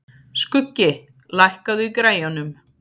Skuggi, lækkaðu í græjunum.